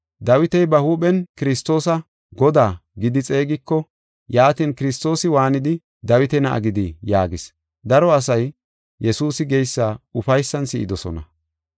Dawiti ba huuphen Kiristoosa, ‘Godaa’ gidi xeegiko, yaatin, Kiristoosi waanidi, Dawita na7a gidi?” yaagis. Daro asay Yesuusi geysa ufaysan si7idosona.